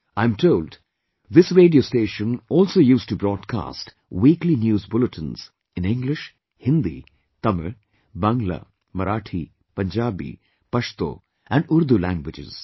I am told this radio station also used to broadcast weekly news bulletins in English, Hindi, Tamil, Bangla, Marathi, Punjabi, Pashto & Urdu languages